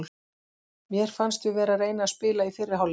Mér fannst við vera að reyna að spila í fyrri hálfleik.